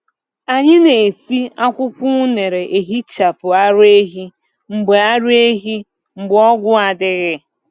Anyị na-esi akwụkwọ unere ehichapụ ara ehi mgbe ara ehi mgbe ọgwụ adịghị.